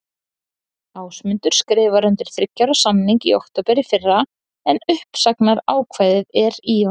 Ásmundur skrifaði undir þriggja ára samning í október í fyrra en uppsagnarákvæði er í honum.